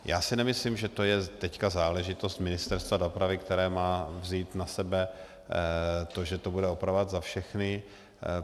Já si nemyslím, že to je teď záležitost Ministerstva dopravy, které má vzít na sebe to, že to bude opravovat za všechny.